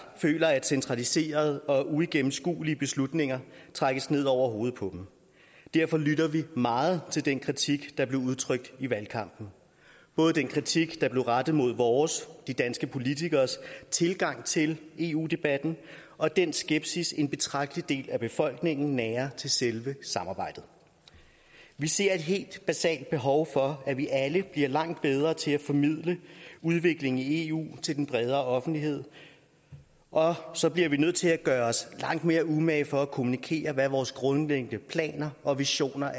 føler at centraliserede og uigennemskuelige beslutninger trækkes ned over hovedet på dem derfor lytter vi meget til den kritik der blev udtrykt i valgkampen både den kritik der blev rettet mod vores de danske politikeres tilgang til eu debatten og den skepsis en betragtelig del af befolkningen nærer til selve samarbejdet vi ser et helt basalt behov for at vi alle bliver langt bedre til at formidle udviklingen i eu til den bredere offentlighed og så bliver vi nødt til at gøre os langt mere umage for at kommunikere hvad vores grundlæggende planer og visioner